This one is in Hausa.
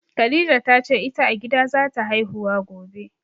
Khadija ta ce ita a gida zata haihuwa gobe